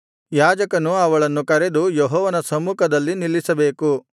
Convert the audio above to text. ಯಾಜಕನು ಅವಳನ್ನು ಕರೆದು ಯೆಹೋವನ ಸಮ್ಮುಖದಲ್ಲಿ ನಿಲ್ಲಿಸಬೇಕು